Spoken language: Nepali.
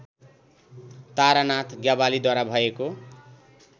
तारानाथ ज्ञवालीद्वारा भएको